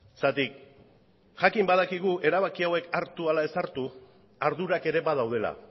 zergatik jakin badakigu erabaki hauek hartu ala ez hartu ardurak ere badaudela